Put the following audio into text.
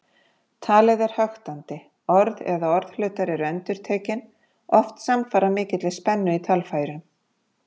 Talið er höktandi, orð eða orðhlutar eru endurtekin, oft samfara mikilli spennu í talfærum.